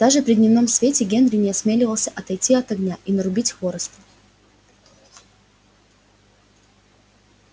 даже при дневном свете генри не осмеливался отойти от огня и нарубить хвороста